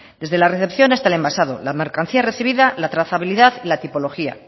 desde la recepción hasta el envasado la mercancía recibida la trazabilidad y la tipología